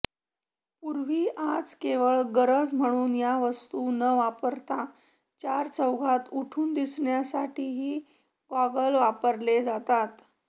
पूर्वी आज केवळ गरज म्हणून या वस्तू न वापरता चारचौघांत उठून दिसण्यासाठीही गॉगल्स वापरले जातात